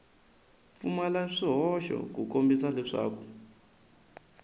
pfumala swihoxo ku kombisa leswaku